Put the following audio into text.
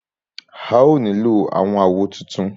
A ó nílò àwọn àwo tuntun.